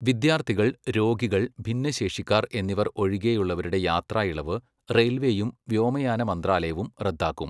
വിദ്യാര്ത്ഥികൾ, രോഗികൾ, ഭിന്നശേഷിക്കാർ, എന്നിവർ ഒഴികെയുള്ളവരുടെ യാത്രാ ഇളവ് റെയിൽവേയും വ്യോമയാന മന്ത്രാലയവും റദ്ദാക്കും.